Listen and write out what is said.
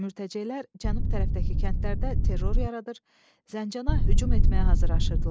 Mütəceilər cənub tərəfdəki kəndlərdə terror yaradır, Zəncana hücum etməyə hazırlaşırdılar.